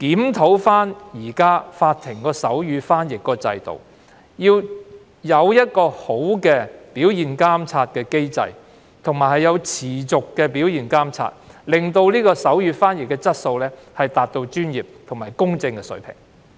檢討法庭現時的手語傳譯制度，建立理想的表現監察機制，以及進行持續的表現監察，令手語傳譯質素達至專業和公正的水平。